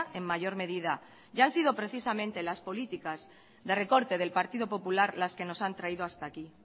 en mayor medida y han sido precisamente las políticas de recorte del partido popular las que nos han traído hasta aquí